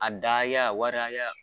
A daya waraya